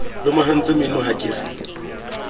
lomahantse meno ha ke re